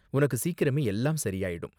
உனக்கு சீக்கிரமே எல்லாம் சரியாயிடும்.